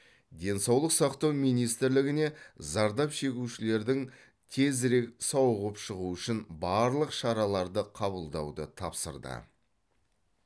денсаулық сақтау министрлігіне зардап шегушілердің тезірек сауығып шығуы үшін барлық шараларды қабылдауды тапсырды